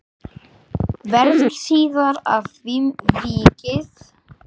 Verður síðar að því vikið.